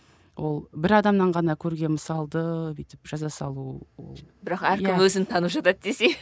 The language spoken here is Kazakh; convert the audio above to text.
ол бір адамнан ғана көрген мысалды бүйтіп жаза салу ол бірақ әркім өзін танып жатады десей